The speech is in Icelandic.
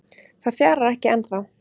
Það fjarar ekki ennþá